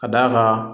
Ka d'a kan